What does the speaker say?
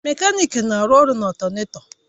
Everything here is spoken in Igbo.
Mekaniki na-arụ ọrụ na ọltánètọ